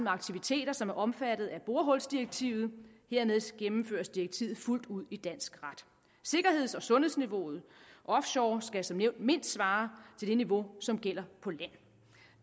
aktiviteter som er omfattet af borehulsdirektivet hermed gennemføres direktivet fuldt ud i dansk ret sikkerheds og sundhedsniveauet offshore skal som nævnt mindst svare til det niveau som gælder på land